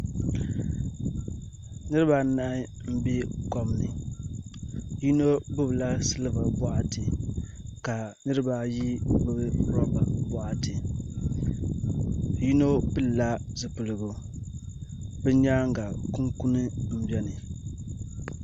Niraba anahi n bɛ kom ni yino gbubila silba boɣati ka niraba ayi gbubi roba boɣati yino pilila zipiligu bi nyaanga kunkuni n biɛni